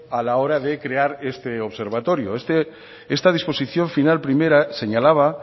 a la hora de crear este observatorio esta disposición final primera señalaba